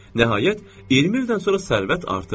Nəhayət, 20 ildən sonra sərvət artıb.